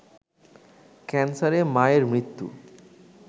ক্যান্সারে মায়ের মৃত্যু